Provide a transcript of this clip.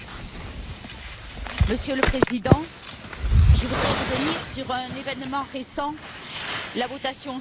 Monsieur le Président, je voudrais revenir sur un événement récent, la votation suisse sur les minarets.